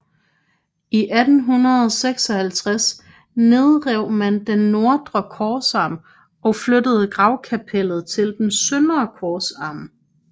I 1856 nedrev man den nordre korsarm og flyttede gravkapellet til den søndre korsarm